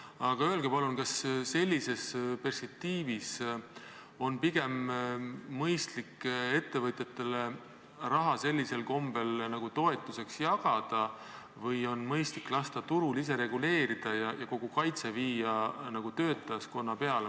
Aga öelge palun, kas sellises perspektiivis on pigem mõistlik ettevõtjatele raha sellisel kombel toetusteks jagada või on mõistlik lasta turul ise reguleerida ja kogu kaitse viia töötajaskonna peale.